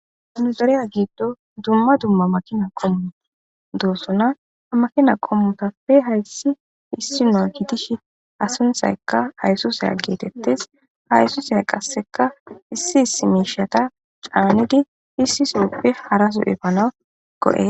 hanuzareya giiddo dumma dumma makina kommuta doossona amakina kommutappe hayssi issi no gitish asunthaykka haysusay geetettes haysusay qasseka issi isi miishata caanigi issi so7eppe harasu7e fana go7e